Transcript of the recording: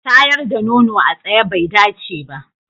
Shayar da nono a tsaye bai dace ba.